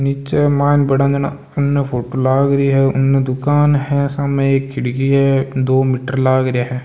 नीचे मायन भड़ा जना अने फोटो लाग री है उने दुकान है सामे एक खिड़की है दो मीटर लाग रिया हैं।